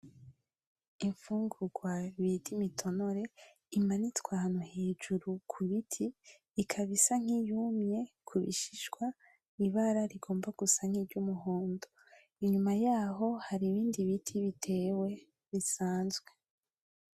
Imfungurwa bidimitonore imanitswa hantu hejuru ku biti ikabisa nk'iyumye kubishishwa ibara rigomba gusank' iryo umuhondo inyuma yaho hari ibindi biti, bitewe bisanzwe.